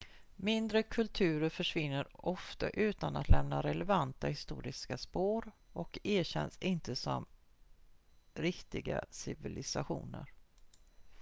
mindre kulturer försvinner ofta utan att lämna relevanta historiska spår och erkänns inte som riktiga civilisationer